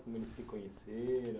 Como eles se conheceram?